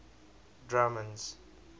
drummond's